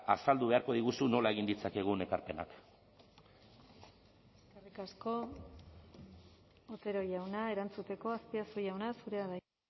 azaldu beharko diguzu nola egin ditzakegun ekarpenak eskerrik asko otero jauna erantzuteko azpiazu jauna zurea da hitza